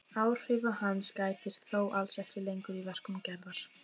Áhrifa hans gætir þó alls ekki lengur í verkum Gerðar.